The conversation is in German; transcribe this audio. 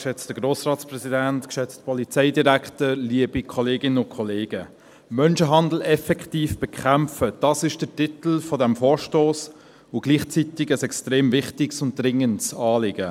«Menschenhandel effektiv bekämpfen»: Das ist der Titel dieses Vorstosses und gleichzeitig ein extrem wichtiges und dringendes Anliegen.